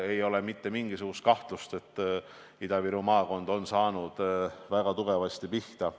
Nii et pole mingisugust kahtlust, et Ida-Viru maakond on saanud väga tugevasti pihta.